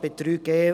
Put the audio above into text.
neuer Punkt 3.E